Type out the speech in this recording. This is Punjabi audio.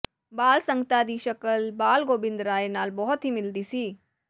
ਬਾਲ ਸੰਗਤਾ ਦੀ ਸ਼ਕਲ ਬਾਲ ਗੋਬਿੰਦ ਰਾਏ ਨਾਲ ਬਹੁਤ ਹੀ ਮਿਲਦੀ ਸੀ